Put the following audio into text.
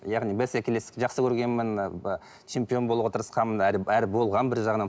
яғни бәсекелестікті жақсы көргенмін ы чемпион болуға тырысқанмын әрі болғанмын бір жағынан